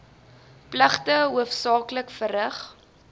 pligte hoofsaaklik verrig